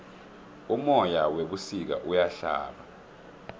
umoya webusika uyahlaba